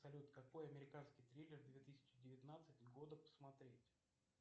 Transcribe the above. салют какой американский триллер две тысячи девятнадцать года посмотреть